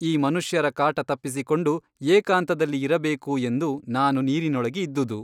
ಈ ಮನುಷ್ಯರ ಕಾಟ ತಪ್ಪಿಸಿಕೊಂಡು ಏಕಾಂತದಲ್ಲಿ ಇರಬೇಕು ಎಂದು ನಾನು ನೀರಿನೊಳಗೆ ಇದ್ದುದು.